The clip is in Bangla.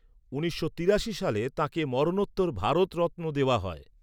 উনিশশো তিরাশি সালে তাঁকে মরণোত্তর ভারতরত্ন দেওয়া হয়।